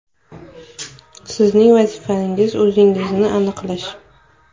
Sizning vazifangiz – o‘zingiznikini aniqlash.